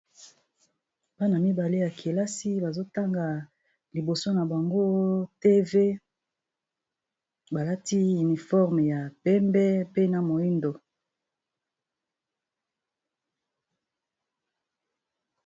bana mibale ya kelasi bazotanga liboso na bango tv balati uniforme ya pembe pena moindo